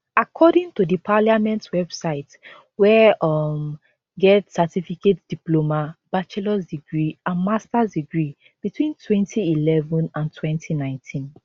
according to the parliament website were um get certificate diploma bachelors degree and masters degree between 2011 and 2019